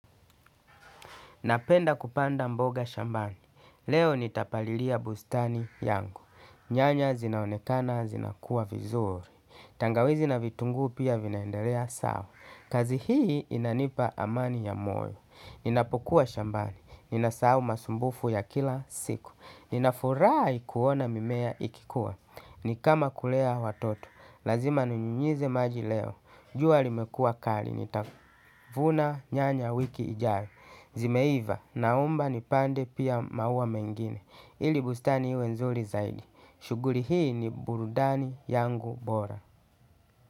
Napenda kupanda mboga shambani, leo nitapalilia bustani yangu, nyanya zinaonekana zinakua vizuri, tangawizi na vitungu pia vinaendelea sawa, kazi hii inanipa amani ya moyo, ninapokuwa shambani, ninasahau masumbufu ya kila siku, ninafurahi kuona mimea ikikuwa, ni kama kulea watoto, lazima ninyunyize maji leo, jua limekua kali, nitavuna nyanya wiki ijayo. Zimeiva, naomba nipande pia maua mengine. Ili bustani iwe nzuri zaidi. Shughuli hii ni burudani yangu bora.